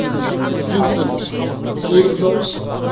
кенсем сегіз дауыс